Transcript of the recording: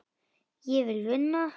Ég vil vinna.